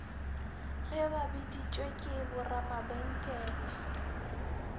ge ba biditšwe ke boramabenkele